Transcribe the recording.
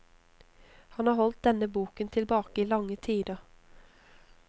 Han har holdt denne boken tilbake i lange tider.